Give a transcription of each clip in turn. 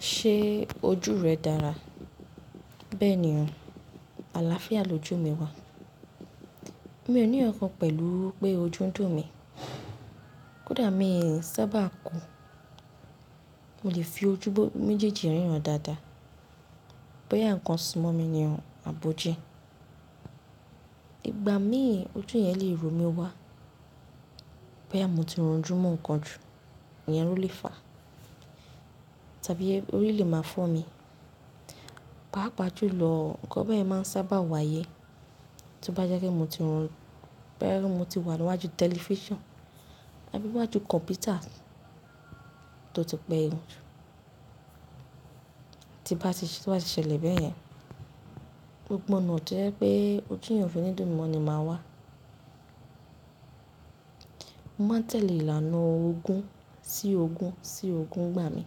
Ṣé ojú rẹ dára? Bẹ́ẹ̀ ni o, àlàáfíà lójú mi wà. Mi ò ní ọ̀kan pẹ̀lú pé ojú ń dùn mí. Kódà mi ò sábà kùn, mo lè fi ojú mejejí ríran dáadáa. Bóyá ǹkan sì mọ́ mi ni o, àbojí. Igba mí ojú yẹn lè ro mí wá. Bóyà mo ti ranjú mú nǹkan jù, ìyẹn ló lè fàá tàbí orí lè máa fọ́ mi. Páà pàjú lọ, ǹkan bẹ́ẹ̀ máa ń sábà wáyé. Tóbá jẹ́kí mo ti rò ó, bẹ́ẹ̀ ni mo ti wà níwájú tẹlifíṣàn tàbí wájú kọ̀mpútà tó ti pẹ́ yanjú. Ti bá ti ṣẹlẹ̀ bẹ́ẹ̀ yẹn, gbogbo onáà jẹ́ pé ojú yen òfi nídùn mó ni máa wà. Mo máa tẹ̀lé ìlànà ogún sí ogún sí ogún gbà mí.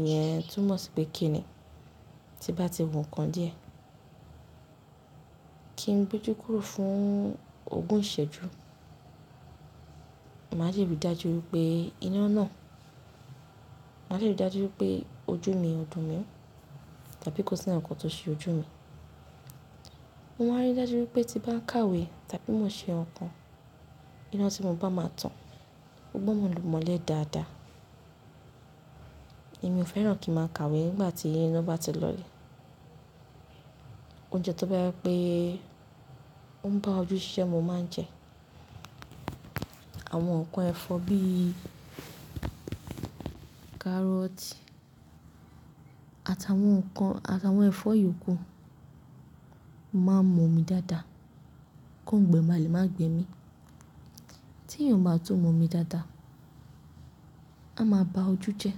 Ìyẹn tún mọ̀ sí pé kí ni ti bá ti wù nǹkan díẹ̀, kí n gbójú kúrò fún ogún ìṣẹ́jú. Màá lè rí dájú wípé iná náà, màá lè rí dájú wípé ojú mi ọ̀dùn mi mọ́ tàbí kó sí ǹkan tó ṣe ojú mi. Mo máa rí dájú wípé tí bá ń kàwé tàbí mo ṣe ǹkan, iná tí mo bá máa tàn gbọ́dọ́ mo mọ́lẹ̀ dáadáa. Èmi ò fẹ́ràn kí màá kàwé nígbà tí iná bá ti lọlẹ̀. Oúnjẹ tó bá yẹ pé ó ń bá ojú ṣisẹ́ mo máa ń jẹ. Àwọn ǹkan ẹ̀fọ́ bí i kárọ́tì àtàwọn ẹ̀fọ́ yòókù máa ń mọ́ mi dáadáa kó ń gbẹ máa lè máa gbẹ mi. Tí èèyàn bá tún mọ́ mi dáadáa, a máa ba ojú jẹ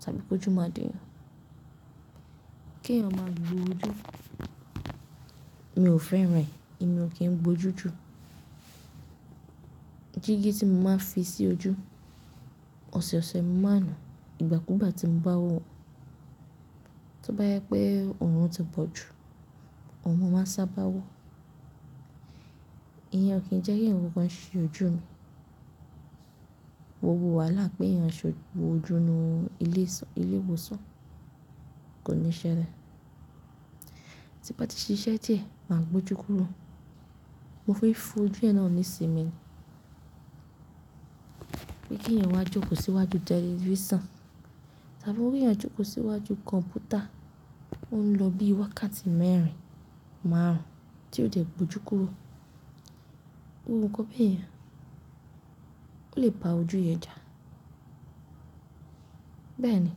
tàbí pé ojú máa dùn. Kí ẹ̀yàn máa gbo ojú mi ò fẹ́ràn rẹ̀. Èmi ò kí ń gbo ojú ju. Jígí tí mo máa ń fi sí ojú ọ̀sọ̀ọ̀sẹ̀ máa nù ìgbà kú ìgbà tí ń bá wọ̀. Tóbá yẹ pé òórùn ti bọ̀ jù, ọun máa sábà wọ̀. Ìyẹn kì í jẹ́ kí ǹkan ṣe ojú mi. Wò wò wà láti pé ìyẹn ṣe ojú inú ilé ìwòsàn, kò ní ṣẹ rẹ̀. Ti bá ti ṣe iṣẹ́ dìẹ̀ máa gbo ojú kúrò. Mo fi fojú ẹ̀ náà ní ìsinmi mi wípé kí ẹ̀yàn wá jókòó síwájú tẹlifíṣàn tàbí kí wọ́n jókòó síwájú kọ̀mpútà. Ó ń lọ bí i wákàtí mẹ́rin, márùn-ún tí ó jẹ́ gbójú kúrò. Gbogbọ̀ nkan bẹ̀yen ọ̀ lè ba ojú yẹn jà. Bẹ́ẹ̀ ni,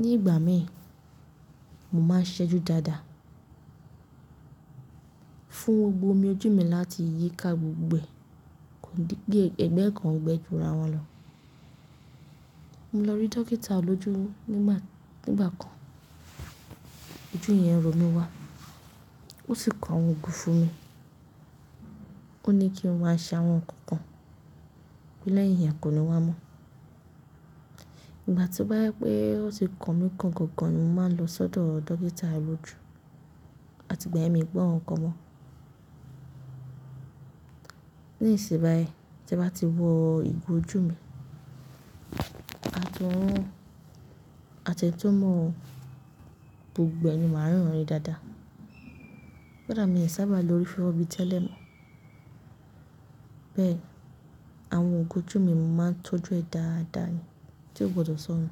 ní ìgbà mí, mo máa ń ṣẹ́jú dáadáa fún gbogbo omi ojú mi láti yíká gbogbo ẹ̀, kí ẹ̀gbẹ́ ẹ̀ kan ò gbẹ jura wọn lọ. Mo lọ rí dókítà olójú nígbà kan ojú yẹn ń ro mí wá, ó sì kọ àwọn ògùn fún mi. Ó ní kí n máa ṣàwọn ǹkan kan, pé lẹ́yìn yẹn kò ní wá mọ́. Ìgbà tí ó bá yẹ pé ó ti kan mi kan gòǹgò, mo máa lọ sódò dókítà olójú láti gbẹ̀mí gbọ́ àwọn ǹkan mọ́n. Nísìnyí, tí bá ti wọ̀ ìgò ojú mi àti tún mọ́ gbogbo ẹni máa ń riran rí dáadáa. Kódà mi ò sábà lo orí fẹ́rẹ́ẹ bíi tẹ́lẹ̀ mọ́. Bẹ́ẹ̀ àwọn igo ojú mi mo máa ń tọ́jú ẹ dáadáa ni tí ó gbọdọ̀ sọ nù.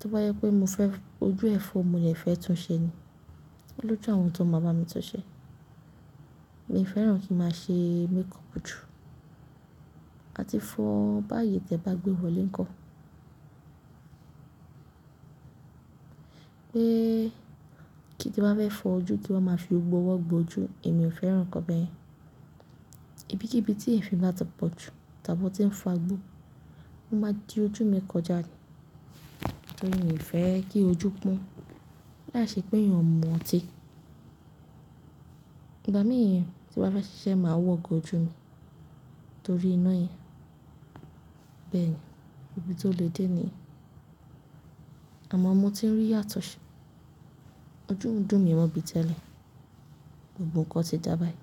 Tóbá yẹ pé mo fẹ́ ojú ẹ̀fọ́, mo lè fẹ́ tún ṣẹ́ ni. Olójú àwọn tó máa bá mi tunṣẹ́. Èmi ò fẹ́ràn kí màá ṣe makeup jù àti fọ ọ́n bá yè tí ẹ bá gbé wọlé ńkọ́. Pé kí tí bá fẹ́ fọ ojú kí wọ́n máa fi gbogbo owó gbo ojú, èmi ò fẹ́ràn ǹkan bẹ́ẹ̀. Ibi kí ibi tí ẹ̀fìn bá tàn pọ̀ jù tàbí tí ń fa gbó, ó máa di ojú mi kọjá ni. N ò fẹ́ kí ojú pọ́n, láàiṣẹ pé èèyàn mu ọ́ ti. Ìgbà mìíràn tí bá fẹ́ ṣiṣẹ́ màá wọ igo ojú mi torí iná yẹn. Bẹ́ẹ̀ ni, ibi tó lè dé ni. Àmọ́ mo ti rí yàtọ̀ ṣe. Ojú ń dùn mi mọ́ bíi tẹ́lẹ̀. Gbogbo ǹkan ti dába yìí.